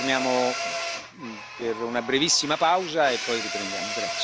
Adesso ci fermiamo per una brevissima pausa e poi riprendiamo.